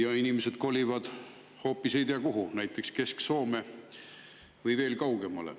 Ja inimesed kolivad hoopis ei tea kuhu, näiteks Kesk-Soome või veel kaugemale.